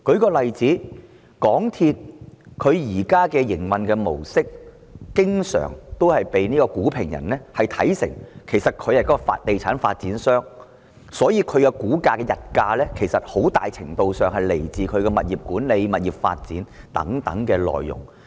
舉例來說，鑒於港鐵公司現時的營運模式，因此經常被股評人看成是地產發展商，所以港鐵公司的股價的溢價其實很大程度是來自其物業管理、物業發展等內容。